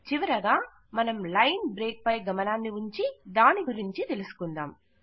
చివరగా మనం line break పై గమనాన్ని ఉంచి దాని గురించి తెలుసుకుందాం